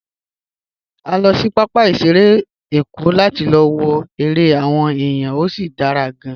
A lọ sí pápá ìṣeré Èkó láti lọ wo eré àwọn èèyàn, ó sì dára gan-an.